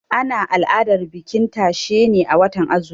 Ana al'adar bikin tashe ne a watan azumi.